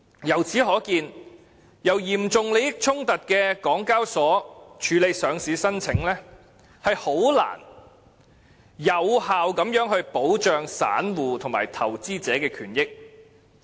由此可見，由有嚴重利益衝突的港交所處理上市申請，很難有效保障散戶及投資者的權益。